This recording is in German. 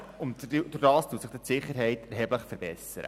Dadurch wird die Sicherheit erheblich verbessert.